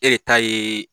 E de ta ye